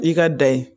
I ka dan ye